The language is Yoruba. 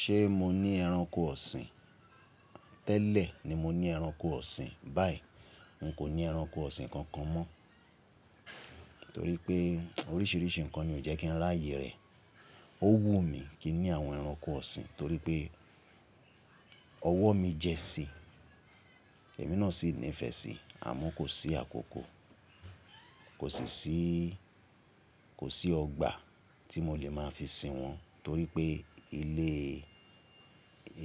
Ṣé mo ní ẹranko ọ̀sìn? Tẹ́lẹ̀ ni mo ní ẹranko ọ̀sìn, báyìí n kò ní ẹranko ọ̀sìn kankan mọ́, torí pé oríṣiríṣi nǹkan ni ó jẹ́ kí n ráyè rẹ̀. Ó wùn mí kí n ní àwọn ẹranko ọ̀sìn torí pé ọwọ́ mi jẹ́ sí, ẹ̀mí náà sì nífẹ̀ẹ́ sí, àmọ́ kò sí àkókò, kòsi sì kosi ọgbà tí mo lè máa fi sin wọ́n torí pé